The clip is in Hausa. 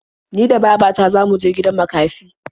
Ni da baba ta za mu je gidan makafi.